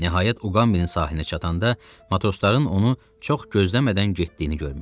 Nəhayət Uqambinin sahilinə çatanda matrosların onu çox gözləmədən getdiyini görmüşdü.